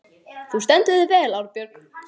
Þú stendur þig vel, Árbjörg!